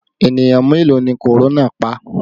Ènìyàn mélòó ni korona pa?